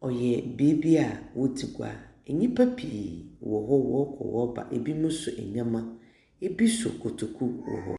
no yɛ beebi a wodzi gua, nyimpa pii nam hɔ wɔrokɔ wɔreba. Binom so ndzɛmba, bi so kotoku rokɔ.